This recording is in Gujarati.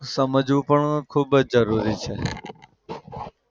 સમજવું પણ ખૂબ જ જરૂરી છે.